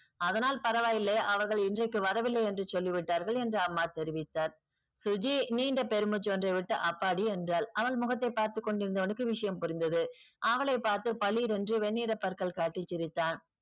அதனால் பரவா இல்லை அவர்கள் இன்றைக்கு வரவில்லை என்று சொல்லிவிட்டார்கள் என்று அம்மா தெரிவித்தார். சுஜி நீண்ட பெரும் மூச்சு ஒன்றை விட்டு அப்பாடி என்றால் அவன் முகத்தை பார்த்துக்கொண்டிருந்தவனுக்கு விஷயம் புரிந்தது அவளை பார்த்து பளீர் என்று வெண்ணிற பற்கள் காட்டி சிரித்தான்